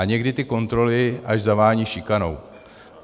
A někdy ty kontroly až zavání šikanou.